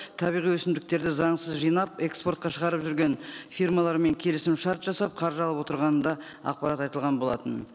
табиғи өсімдіктерді заңсыз жинап экспортқа шығарып жүрген фирмалармен келісімшарт жасап қаржы алып отырғаны да ақпарат айтылған болатын